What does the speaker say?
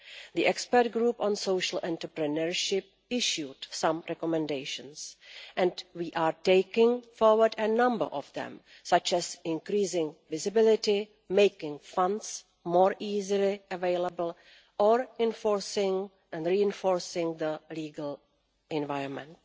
The expert group on social entrepreneurship issued some recommendations and we are taking forward a number of them such as increasing visibility, making funds more easily available or enforcing and reinforcing the legal environment.